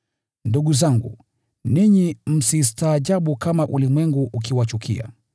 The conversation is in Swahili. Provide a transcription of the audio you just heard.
Ndugu zangu, ninyi msistaajabu kama ulimwengu ukiwachukia.